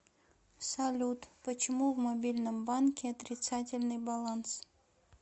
салют почему в мобильном банке отрицательный баланс